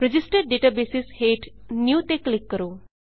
registered databases ਹੇਠ new new ਤੇ click ਕਰੋ